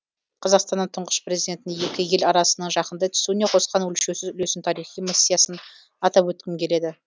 қазақстанның тұңғыш президентінің екі ел арасының жақындай түсуіне қосқан өлшеусіз үлесін тарихи миссиясын атап өткім келеді